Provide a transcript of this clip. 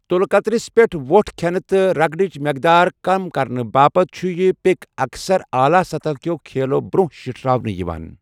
تٗلكٕترِس پٮ۪ٹھ وۄٹھ کھٮ۪نہٕ تہٕ رگڑٕچ مقدار کم کرنہٕ باپتھ چھٗ یہِ پک اکثر اعلیٰ سطح کٮ۪و کھیلو برٛۄنٛہہ شِٹھراونہٕ یوان ۔